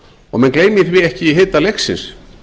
og menn gleymi því ekki í hita leiksins